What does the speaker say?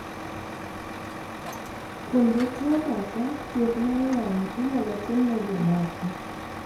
Kuom jotuo moko, thieth mar wang' inyalo tim ne jomoko